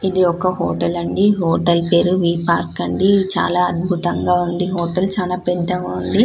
ఇది ఒక హోటల్ అండి హోటల్ పేరు వి పార్క్ అండి చాలా అద్భుతంగా ఉంది హోటల్ చానా పెద్దగా ఉంది --